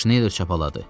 Şneyder çapaladı.